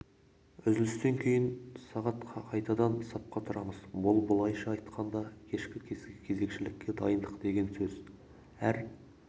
үзілістен кейін сағат қайтадан сапқа тұрамыз бұл былайша айтқанда кешкі кезекшілікке дайындық деген сөз қысқасы әр